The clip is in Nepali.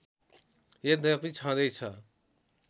यद्यपि छँदैछ